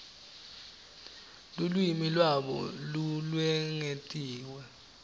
lulwimi lwabo lolwengetiwe